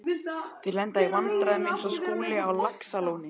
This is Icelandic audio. Þeir lenda í vandræðum eins og Skúli á Laxalóni.